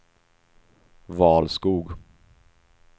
Valskog